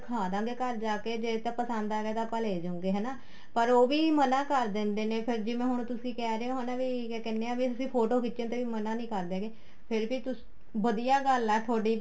ਦਿਖਾਦੇ ਗਏ ਘਰ ਜਾਕੇ ਜ਼ੇ ਤਾਂ ਪਸੰਦ ਆ ਗਿਆ ਤਾਂ ਆਪਾਂ ਲੈਜੂਗੇ ਹੈਨਾ ਪਰ ਉਹ ਵੀ ਮਨਾਂ ਕਰ ਦਿੰਦੇ ਨੇ ਫ਼ੇਰ ਜਿਵੇਂ ਹੁਣ ਤੁਸੀਂ ਕਹਿ ਰਹੇ ਹੋ ਹੈਨਾ ਵੀ ਕਿਆ ਕਹਿਣੇ ਹਾਂ ਵੀ ਅਸੀਂ ਫ਼ੋਟੋ ਖਿੱਚਣ ਤੇ ਵੀ ਮਨਾ ਨਹੀਂ ਕਰਦੇ ਹੈਗੇ ਫ਼ੇਰ ਵੀ ਤੁਸੀਂ ਵਧੀਆ ਗੱਲ ਆ ਤੁਹਾਡੀ